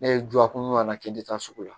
Ne ye duwawu kun kan'a kɛ i tɛ taa sugu la